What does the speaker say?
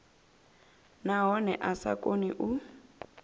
nahone a sa koni u